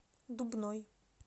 дубной